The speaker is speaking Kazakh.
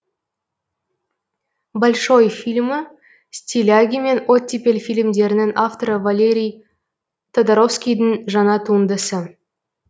большой фильмі стиляги мен оттепель фильмдерінің авторы валерий тодоровскийдің жаңа туындысы